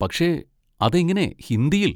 പക്ഷെ അതെങ്ങനെ ഹിന്ദിയിൽ?